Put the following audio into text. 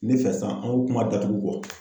Ne fɛ san an ko kuma datugu